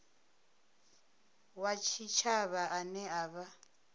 wa tshitshavha ane a vha